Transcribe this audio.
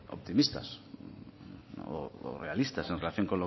optimistas o realistas en relación